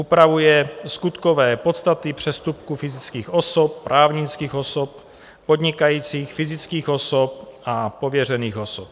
Upravuje skutkové podstaty přestupků fyzických osob, právnických osob podnikajících, fyzických osob a pověřených osob.